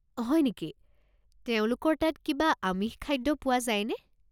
হয় নেকি, তেওঁলোকৰ তাত কিবা আমিষ খাদ্য পোৱা যায়নে?